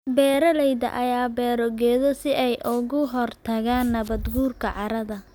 Beeralayda ayaa beera geedo si ay uga hortagaan nabaad guurka carrada.